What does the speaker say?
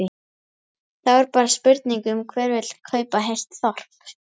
Þá er bara spurning um hver vill kaupa heilt þorp?